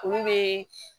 Olu bɛ